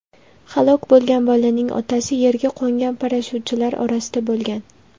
Halok bo‘lgan bolaning otasi yerga qo‘ngan parashyutchilar orasida bo‘lgan.